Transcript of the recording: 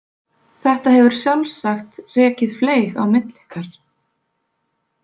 Þetta hefur sjálfsagt rekið fleyg á milli ykkar.